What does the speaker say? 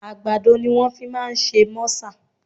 Àgbàdo ni wọ́n fi máa ń ṣe mọ́sà